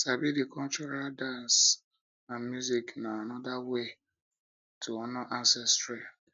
sabi the cultural dance and music na another way to honor ancestry